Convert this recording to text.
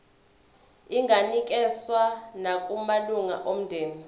inganikezswa nakumalunga omndeni